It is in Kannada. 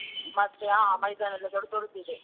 ಮತ್ತೆ ಹಾ ಮೈದಾನ ಎಲ್ಲ ದೊಡ್ದೊಡ್ಡದಿದೆ.